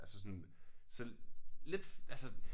Altså sådan selv lidt altså